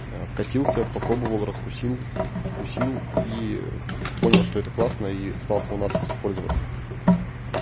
а вкатился попробовал раскусил в вкусил и понял что это классно и остался у нас пользоваться